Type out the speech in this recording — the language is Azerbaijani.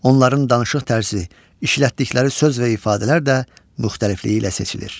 Onların danışıq tərzi, işlətdikləri söz və ifadələr də müxtəlifliyi ilə seçilir.